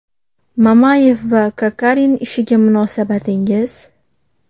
Mamayev va Kokorin ishiga munosabatingiz?